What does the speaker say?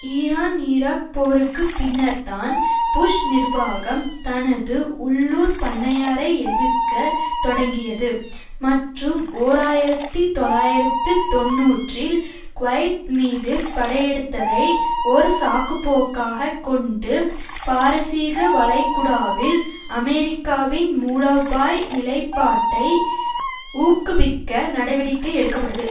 Iran Iraq போருக்கு பின்னர்தான் Bush நிர்வாகம் தனது உள்ளூர் பண்ணையாரை எதிர்க்க தொடங்கியது மற்றும் ஓர் ஆயிரத்தி தொள்ளாயிரத்து தொன்னூறில் குவைத் மீது படையெடுத்ததை ஒரு சாக்குப்போக்காகக் கொண்டு பாரசீக வளைகுடாவில் அமெரிக்காவின் மூலோபாய் நிலைப்பாட்டை ஊக்குவிக்க நடவடிக்கை எடுக்க பட்டது